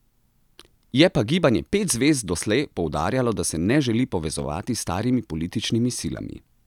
Je pa Gibanje pet zvezd doslej poudarjalo, da se ne želi povezovati s starimi političnimi silami.